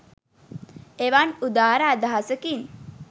එවන් උදාර අදහසකින්